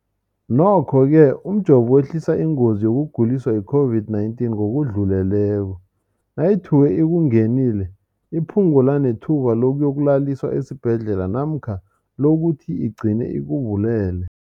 Nokho-ke umjovo wehlisa ingozi yokuguliswa yi-COVID-19 ngokudluleleko, nayithuke ikungenile, iphu ngule nethuba lokuyokulaliswa esibhedlela namkha lokuthi igcine ikubulele.